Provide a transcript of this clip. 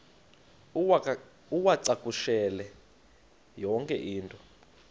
uwacakushele yonke into